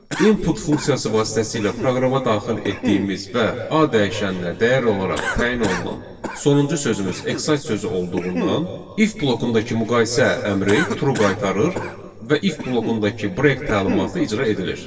İnput funksiyası vasitəsilə proqrama daxil etdiyimiz və A dəyişəninə dəyər olaraq təyin olunan sonuncu sözümüz exit sözü olduğundan if blokundakı müqayisə əmri true qaytarır və if blokundakı break təlimatı icra edilir.